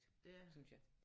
Synes jeg